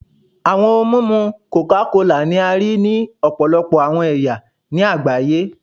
Awọn ohun mimu coca kola ni a rii ni ọpọlọpọ awọn ẹya ni agbaye